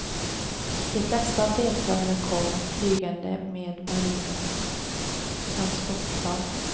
De flesta av deltagarna kom flygande med marinens transportplan.